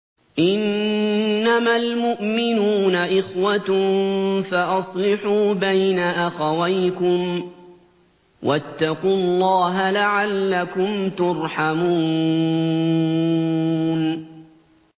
إِنَّمَا الْمُؤْمِنُونَ إِخْوَةٌ فَأَصْلِحُوا بَيْنَ أَخَوَيْكُمْ ۚ وَاتَّقُوا اللَّهَ لَعَلَّكُمْ تُرْحَمُونَ